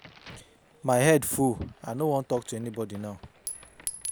My head full, I no wan talk to anyone now.